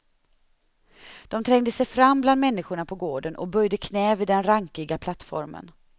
De trängde sig fram bland människorna på gården och böjde knä vid den rankiga plattformen.